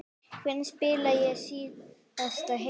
Hvenær spilaði ég síðast heill?